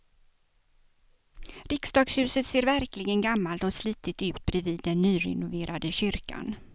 Riksdagshuset ser verkligen gammalt och slitet ut bredvid den nyrenoverade kyrkan.